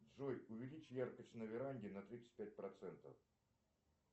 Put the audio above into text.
джой увеличь яркость на веранде на тридцать пять процентов